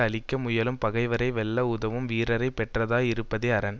அழிக்க முயலும் பகைவரை வெல்ல உதவும் வீரரை பெற்றதாய் இருப்பதே அரண்